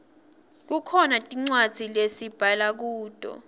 kukhona tincwadzi lesibhala kuto